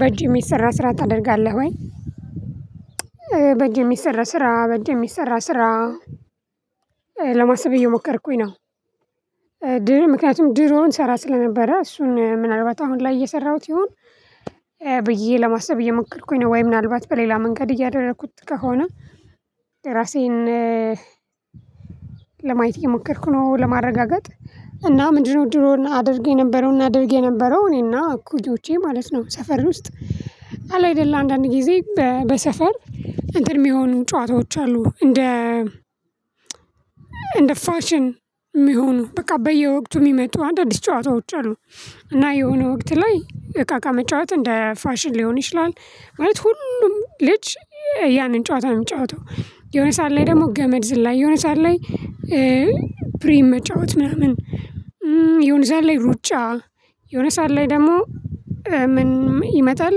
በእጅ የሚሰራ ስራ ታደርጋለህ ወይ? በእጅ የሚሰራ ስራ በእጅ የሚሰራ ስራ ለማሰብ እየሞከርኩኝ ነው። ድሮ ምክንያቱም ድሮ እንሰራ ስለነበረ እሱን ምናልባት አሁን ላይ እየሰራሁት ይሁን። ብዬ ለማሰብ እየሞከርኩኝ ነው ወይ ምናልባት በሌላ መንገድ እያደረኩት ከሆነ። ለራሴን ለማየት እየሞከርኩ ነው። ለማረጋገጥ እና ምንድነው ድሮ አድግ የነበረውን እናደርግየነበረው እኔና እኩዮቼ ማለት ነው። ሰፈር ውስጥ አለ አይደለም አንዳንድ ጊዜ በሰፈር እንትን የሚሆኑ ጨዋታዎች አሉ። እንደ እንደ ፋሽን የሚሆኑ በቃ በየወቅቱ የሚመጡ አንዳንድ ጨዋታዎች አሉ። እና የሆነ ወቅት ላይ እቃቃ መጫወት እንደ ፋሽን ሊሆን ይችላል። ማለት ሁሉም ልጅ ያንን ጨዋታ ነው የሚጫወተው የሆነ ሰዓት ላይ ደግሞ ገመድ ዝላይ የሆነ ሰዓት ላይ ፕሪም መጫወት ነው። ምን የሆነ ሰዓት ላይ ሩጫ የሆነ ሰዓት ላይ ደግሞ ምን ይመጣል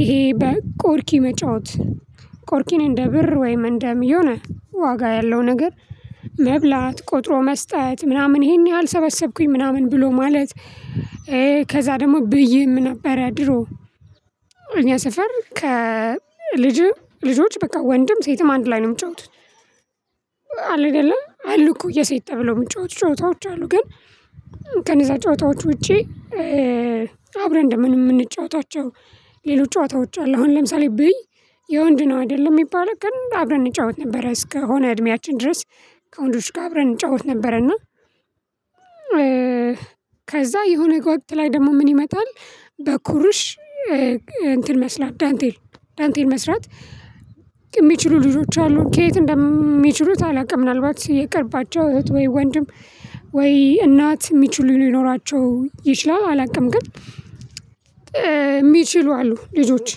ይሄ በቆርኪ መጫወት። ቆርኪን እንደ ብር ወይም እንደ የሆነ ዋጋ ያለው ነገር መብላት ቆጥሮ መስጠት ምናምን ይሄን ያህል ሰበሰብኩኝ ምናምን ብሎ ማለት። ከዛ ደግሞ ብይም ነበረ ድሮ። እኛ ሰፈር ከልጅም ልጆች በቃ ወንድም ሴትም አንድ ላይ ነው የሚጫወቱት። አለ አይደለ አሉ እኮ የሴት ተብሎ የምንጫወት ጨዋታዎች አሉ። ግን ከነዛ ጨዋታዎች ውጪ አብረን እንደምን የምንጫወታቸው ሌሎች ጨዋታዎች አሉ። አሁን ለምሳሌ ብይ የወንድ ነው አይደለም የሚባለው ግን አብረን እንጫወት ነበር እስከሆነ እድሜያችን ድረስ ከወንዶች ጋር አብረን እንጫወት ነበረን ነው። ከዛ የሆነ ወቅት ላይ ደግሞ ምን ይመጣል። በኩሩሽ እንትን መስራት ዳንቴል ዳንቴል መስራት የሚችሉ ልጆች አሉ ከየት እንደሚችሉት አላውቅም። ምናልባት የቅርባቸው እህት ወይ ወንድም ወይ እናት የሚችሉ ሊኖራቸው ይችላሉ አላውቅም። ግን የሚችሉ አሉ ልጆች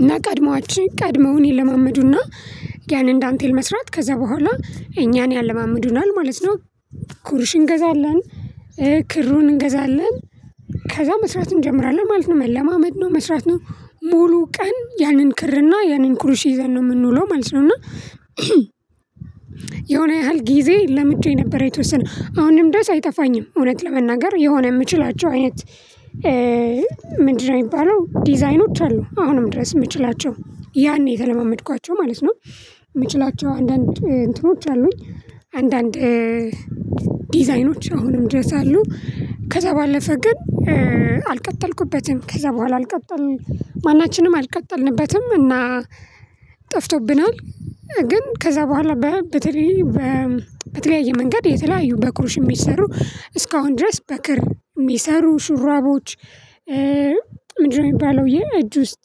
እና ቀድመዋችን ቀድመውን ይለማመዱና ያንን ዳንቴል መስራት ከዛ በኋላ እኛን ያለማምዱናል ማለት ነው። ኩርሽ እንገዛለን ክሩን እንገዛለን ከዛ መስራት እንጀምራለን ማለት ነው መለማመድ ነው መስራት ነው። ሙሉ ቀን ያንን ክርና ያንን ኩሩሽ ይዘን ነው የምንውለው ማለት ነው። እና የሆነ ያህል ጊዜ ለምጄ ነበር የተወሰነ አሁንም ድረስ አይጠፋኝም። እውነት ለመናገር የሆነ የምችላቸው አይነት ምንድነው የሚባለው ዲዛይኖች አሉ አሁንም ድረስ የምችላቸው። ያኔ የተለማመድኳቸው ማለት ነው። የምችላቸው አንዳንድ እንትኖች አሉኝ። አንዳንድ ዲዛይኖች አሁንም ድረስ አሉ። ከዛ ባለፈ ግን አልቀጠልኩበትም ከዛ በኋላ አልቀጠልንም ማናችንም አልቀጠልንበትም። እና ጠፍቶብናል። ግን ከዛ በኋላ በተለይ በተለያየ መንገድ የተለያዩ በኩርሽ የሚሰሩ እስካሁን ድረስ በክር የሚሰሩ ሹራቦች። ምንድነው የሚባለው የእጅ ውስጥ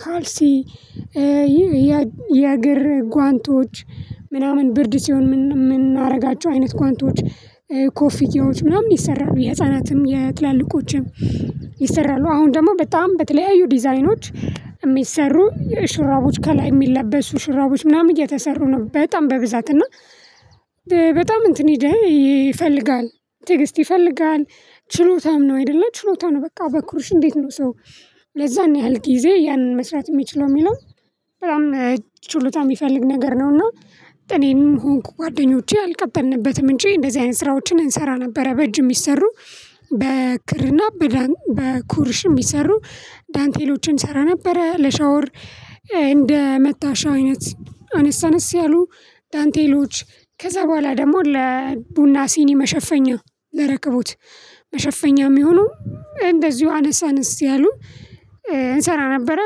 ካልሲ። የእግር ጓንቶች ምናምን ብርድ ሲሆን የምናደርጋቸው አይነት ጓንቶች። ኮፍያዎች ምናምን ይሰራሉ የህፃናትም የትላልቆችም ይሰራሉ። አሁን ደግሞ በጣም በተለያዩ ዲዛይኖች የሚሰሩሹራቦች ከላይ የሚለበሱ ሽራቦች ምናምን እየተሰሩ ነው። በጣም በብዛት እና በጣም እንትን ሂደህ ይፈልጋል ተዕግስት ይፈልጋል ችሎታም ነው። አይደለ ችሎታ ነው በቃ በኩርሽ እንዴት ነው ሰው ለዛን ያህል ጊዜ ያንን መስራት የሚችለው የሚለው በጣም ችሎታ የሚፈልግ ነገር ነውና። እኔም ሆንኩ ጓደኞቼ አልቀጠልንበትም እንጂ እንደዚህ አይነት ስራዎችን እንሰራ ነበረ። በእጅ የሚሰሩ በክርና በዳን በኩርሽ የሚሰሩ ዳንቴሎችን እንሰራ ነበረ። ለሻወር እንደመታሻ አይነት አነስ አነስ ያሉ ዳንቴሎች። ከዛ በኋላ ደግሞ ለቡና ሲኒ መሸፈኛ ለረከቦት መሸፈኛ የሚሆኑ እንደዚሁ አነስ አንስ ያሉት እንሰራ ነበረ።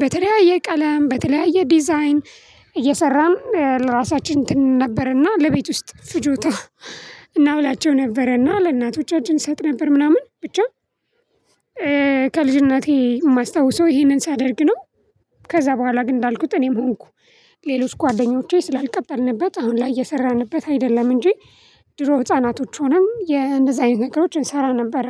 በተለያየ ቀለም በተለያየ ዲዛይን እየሰራም ለራሳችን እንትን ነበርና ለቤት ውስጥ ፍጆታ እናውላቸው ነበረና ለእናቶቻችን እንሰጥ ነበር ምናምን ብቻ። ከልጅነቴ የማስታውሰው ይሄንን ሳደርግ ነው። ከዛ በኋላ ግን እንዳልኩት እኔም ሆንኩ ሌሎች ጓደኞቼ ስላልቀጠልንበት አሁን ላይ እየሰራንበት አይደለም። እንጂ ድሮ ህፃናቶች ሆነም እንደዚህ አይነት ነገሮችን እንሰራ ነበረ።